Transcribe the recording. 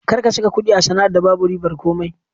Kar ka saka kuɗi a sana'ar da babu ribar komai!